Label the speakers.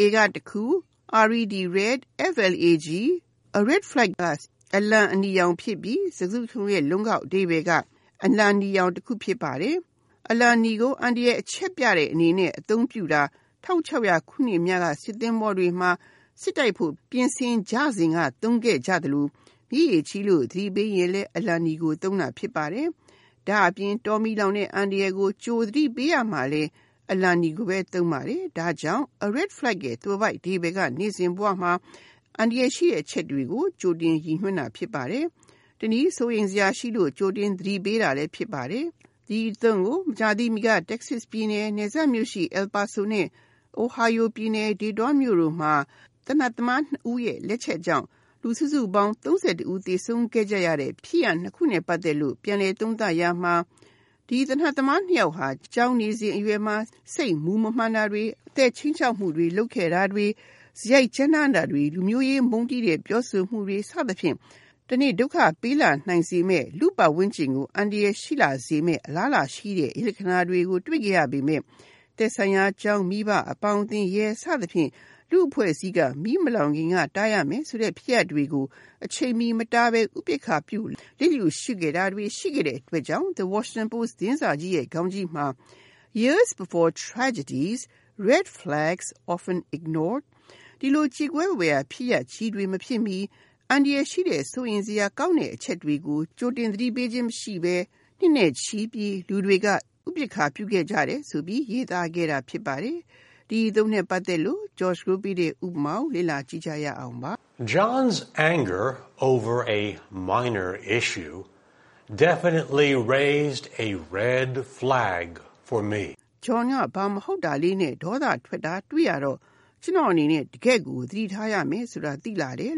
Speaker 1: A (တခု)၊ red flag (အနီရောင်အလံ) ဖြစ်ပြီး စကားစုတခုလုံးရဲ့ လုံးကောက်အဓိပ္ပါယ်က အနီရောင်အလံတခု ဖြစ်ပါတယ်။ အလံနီကို အန္တရာယ် အချက်ပြတဲ့အနေနဲ့ အသုံးပြုတာ ၁၆၀၀ ခုနှစ်များက စစ်သင်္ဘောတွေမှာ စစ် တိုက်ဖို့ ပြင်ဆင်ကြရင်သုံးခဲ့ကြသလို မြစ်ရေကြီးလို့ သတိပေးရင်လဲ အလံနီကိုသုံးတာ ဖြစ်ပါတယ်။ ဒါ့အပြင် တောမီးလောင်တဲ့ဲ့ အန္တရာယ်ကို သတိပေးရမှာလည်း အလံနီကိုပဲ သုံးပါတယ်။ ဒါကြောင့် A red flag ရဲ့ သွယ်ဝိုက်အဓိပ္ပါယ်က နေ့စဉ်ဘဝမှာ သတိထား ရမယ့် အန္တရာယ်ရှိတဲ့ အချက်ကို ရည်ညွှန်းတာ ဖြစ်ပါတယ်။ တနည်း စိုးရိမ်စရာရှိလို့ ကြိုတင်သတိပေးတာလည်း ဖြစ်ပါတယ်။ ဒီအသုံးကို မကြာသေးမီက Texas ပြည်နယ်၊ El Paso နယ်စပ် မြို့နဲ့ Ohio ပြည်နယ် Dayton မြို့တို့မှာ သေနတ်သမား ၂ ဦး ရဲ့လက်ချက်ကြောင့် စုစုပေါင်း လူ ၃၁ ဦး သေ ဆုံးခဲ့ကြရတဲ့ဖြစ်ရပ်နှစ်ခုနဲ့ပတ်သက်လို့ ပြန်လည်သုံးသပ်ရာမှာ ဒီ သေနတ်သမား နှစ်ယောက်ဟာ ကျောင်းနေစဉ် စိတ်မူမမှန် တာတွေ၊ အသက်ခြိမ်းခြောက်မှု လုပ်ခဲ့ တာတွေ၊ စရိုက်ကြမ်းတမ်းတာတွေ၊ လူမျိုးရေးမုန်းတီးတဲ့ပြောဆိုမှုတွေ စသဖြင့် တနေ့နေ့မှာ ဒုက္ခပေးလာနိုင်စေမယ့်၊ လူ့ပတ်ဝန်းကျင်ကို အန္တရာယ်ဖြစ်လာစေမယ့် အလားအလာရှိတဲ့အရိပ်လက္ခဏာတွေကို တွေ့ခဲ့ရပေမယ့် သက်ဆိုင်ရာကျောင်း၊ မိဘ၊ အပေါင်းအသင်း၊ ရဲ စသဖြင့် လူ့အဖွဲ့အစည်းအသီးသီးက မီးမလောင်ခင်ကတားရမယ်-ဆိုတဲ့ ဖြစ်ရပ်တွေကို အချိန်မီမတားနိုင်ဘဲ ဥပက္ခာပြု လျစ်လျှူရှုခဲ့ကြတဲ့အတွက် The Washington Post သတင်းစာကြီးရဲ့ခေါင်းကြီးမှာ “Years before tragedies, Red flags often ignored." ကြေကွဲဖွယ်ရာဖြစ်ရပ်ကြီးတွေမဖြစ်မီ အန္တရာယ်ရှိတဲ့၊ စိုးရိမ်စရာကောင်းတဲ့အချက်တွေကို ကြိုတင်သတိပေးခြင်းမရှိဘဲ နှစ်နဲ့ချီပြီး လူတွေက ဥပက္ခာပြုခဲ့ကြတယ်- လို့ ရေးသားခဲ့တာ ဖြစ်ပါတယ်။ ဥပမာ
Speaker 2: - John’s anger over a minor issue definitely raised “a red flag” for me.
Speaker 1: John ကဘာမဟုတ်လေးနဲ့ ဒေါသထွက်တာတွေ့ရတော့ ကျနော့်အနေနဲ့ တကယ့်ကိုသတိထားရမယ်ဆိုတာ သိလာတယ်။